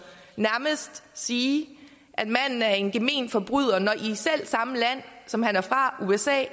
nærmest sige at manden er en gemen forbryder når i det selv samme land som han er fra usa